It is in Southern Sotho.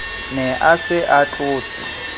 ne a se a tlotse